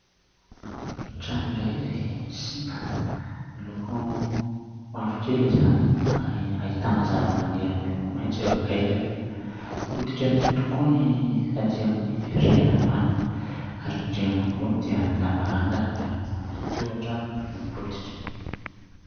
Trano iray izay simba, miloko mavokely izany ary ahitana zavamaniry miloko maitso eo akaikiny. Potika tokoa ny aty amin'ny rihana ambany ary ny rihana ambony dia ny lavarangana miaraka amin'ny tohatra no potika.